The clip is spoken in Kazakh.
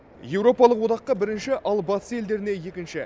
еуропалық одаққа бірінші ал батыс елдеріне екінші